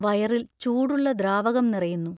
വയറിൽ ചൂടുള്ള ദ്രാവകം നിറയുന്നു...